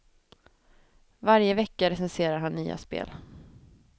Varje vecka recenserar han nya spel.